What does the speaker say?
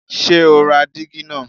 Ṣé ó ra dígí náà?